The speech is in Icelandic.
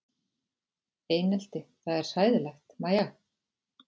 Einelti það er hræðilegt Mæja?